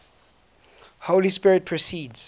holy spirit proceeds